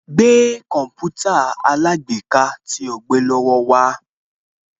Gbé Kọ̀mpútà alágbèéká tí o gbé lọ wá